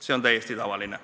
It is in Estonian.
" See on täiesti tavaline.